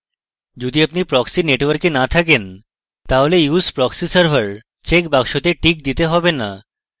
যদি আপনি proxy network না থাকেন তাহলে use proxy server checkbox বক্সটিতে টিক দিতে হবে না